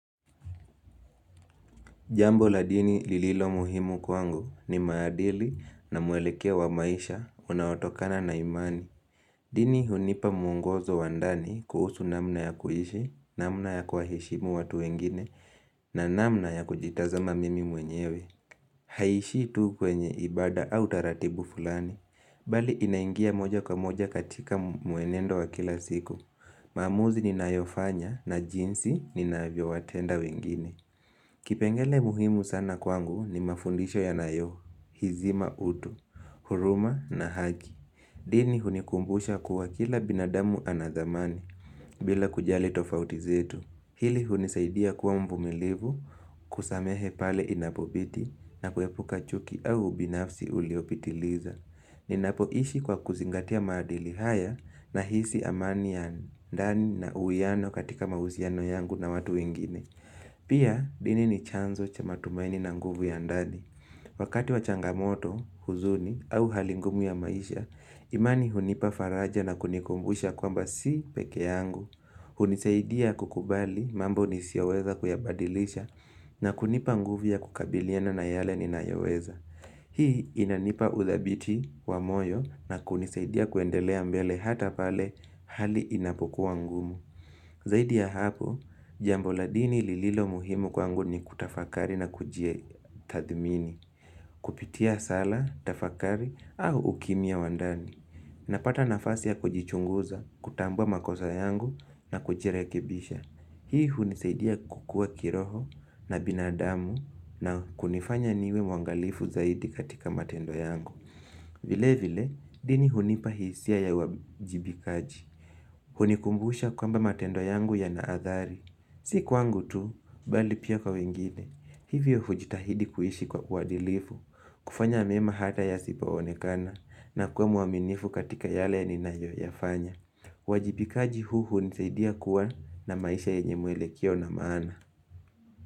Jambo la dini lililo muhimu kwangu ni maadili na muelekeo wa maisha unawatokana na imani. Dini hunipa muongozo wandani kuhusu namna ya kuishi, namna ya kuwaheshimu watu wengine na namna ya kujitazama mimi mwenyewe. Haishii tu kwenye ibada au taratibu fulani, bali inaingia moja kwa moja katika muenendo wa kila siku. Maamuzi ni nayofanya na jinsi ni navyo watenda wengine. Kipengele muhimu sana kwangu ni mafundisho ya nayo, hizima utu, huruma na haki. Dini hunikumbusha kuwa kila binadamu anadhamani bila kujali tofautizetu. Hili hunisaidia kuwa mvumilivu kusamehe pale inapobidi na kuepuka chuki au ubinafsi uliopitiliza. Ninapoishi kwa kuzingatia maadili haya na hisi amani ya ndani na uwiano katika mahusiano yangu na watu wengine. Pia, dini ni chanzo cha matumaini na nguvu ya ndani. Wakati wa changamoto, huzuni, au halingumu ya maisha, imani hunipa faraja na kunikumbusha kwamba si peke yangu. Huniseidia kukubali mambo nisioweza kuyabadilisha na kunipa nguvu ya kukabiliana na yale ni nayoweza. Hii inanipa udhabiti wamoyo na kunisaidia kuendelea mbele hata pale hali inapokuwa ngumu. Zaidi ya hapo, jamboladini lililo muhimu kwangu ni kutafakari na kuji tathimini, kupitia sala, tafakari au ukim ya wandani. Napata nafasi ya kujichunguza, kutambua makosa yangu na kujirekebisha. Hii huniseidia kukua kiroho na binadamu na kunifanya niwe mwangalifu zaidi katika matendo yangu. Vile vile, dini hunipahisia ya uwajibikaji. Hunikumbusha kwamba matendo yangu ya naathari. Siku kwangu tu, bali pia kwa wengine. Hivyo hujitahidi kuishi kwa kuadilifu, kufanya mema hata ya sipoonekana, na kuwa muaminifu katika yale ya ninayo yafanya. Wajibikaji huuhu nisaidia kuwa na maisha yenye mwele keo na maana.